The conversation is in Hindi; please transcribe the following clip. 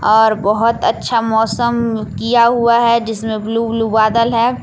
और बहोत अच्छा मौसम किया हुआ है जिसमें ब्लू ब्लू बादल है।